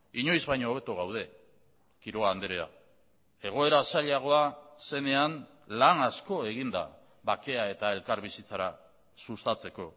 inoiz baino hobeto gaude quiroga andrea egoera zailagoa zenean lan asko egin da bakea eta elkarbizitzara sustatzeko